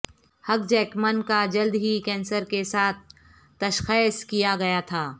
ہگ Jackman کا جلد ہی کینسر کے ساتھ تشخیص کیا گیا تھا